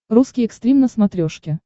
русский экстрим на смотрешке